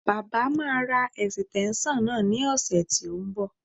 Baba máa ra ẹ̀sìtẹ́ńṣọ̀n náà ní ọ̀sẹ̀ tí ó ń bọ̀